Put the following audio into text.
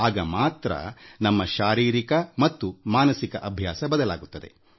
ಆಗ ಮಾತ್ರ ನಮ್ಮ ದೈಹಿಕ ಮತ್ತು ಮಾನಸಿಕ ಅಭ್ಯಾಸ ಬದಲಾಗುತ್ತದೆ